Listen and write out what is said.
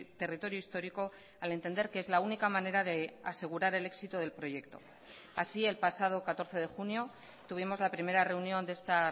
territorio histórico al entender que es la única manera de asegurar el éxito del proyecto así el pasado catorce de junio tuvimos la primera reunión de esta